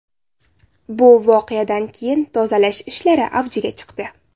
Bu voqeadan keyin tozalash ishlari avjiga chiqdi.